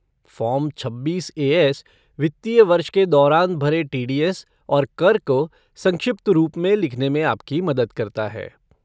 Form छब्बीस A S वित्तीय वर्ष के दौरान भरे टी डी एस और कर को संक्षिप्त रूप में लिखने में आपकी मदद करता है।